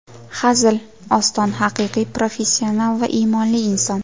Hazil, Oston haqiqiy professional va iymonli inson.